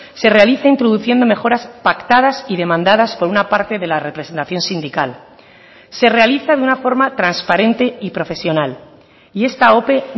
se realiza introduciendo mejoras pactadas y demandadas por una parte de la representación sindical se realiza de una forma transparente y profesional y esta ope